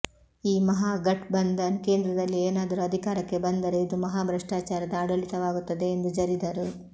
ಈ ಮಹಾಘಟ್ಬಂಧನ್ ಕೇಂದ್ರದಲ್ಲಿ ಏನಾದರೂ ಅಧಿಕಾರಕ್ಕೆ ಬಂದರೆ ಇದು ಮಹಾಭ್ರಷ್ಟಾಚಾರದ ಆಡಳಿತವಾಗುತ್ತದೆ ಎಂದು ಜರಿದರು